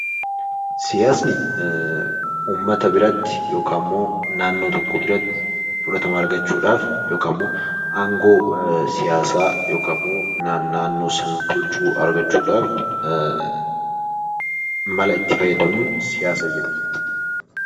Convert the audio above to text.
Siyaasni uummata biratti yookaammoo naannoo tokko biratti fudhatama argachudhaaf yookaammoo aangoo siyaasaa yookaammoo ka naannoo san bulchuu argachuudhaaf mala itti fayyadamnun siyaasa jenna.